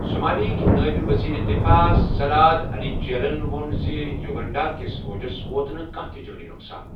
Somalia ہکہِ نٲئب وزیرِ دِفاع صلاد علی جیلَن ووٛن زِ یوگنڈا كِس فوجَس ووت نہٕ کانٛہہ تہِ جٲنی نۄقصان۔